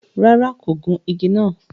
Ràrá, kò gùn ìgi nàá